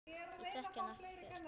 Ég þekki hann ekkert.